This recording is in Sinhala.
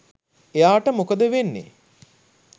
එයාට මොකද වෙන්නේ